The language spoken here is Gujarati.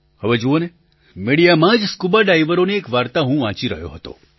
હવે જુઓને મિડિયામાં જ સ્કુબાડાઇવરોની એક વાર્તા હું વાંચી રહ્યો હતો